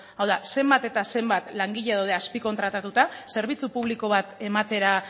hau da zenbat eta zenbat langile daude azpikontratatua zerbitzu publiko bat ematera